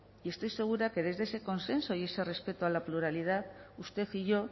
y estoy segura que desde ese consenso y ese respeto a la pluralidad usted y yo